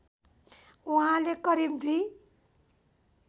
उहाँले करिब दुई